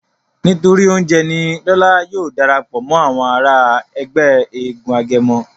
nítorí oúnjẹ ní Lọla yóò darapọ̀ mọ Àwọn àrà Ègbé éégun agẹmọ.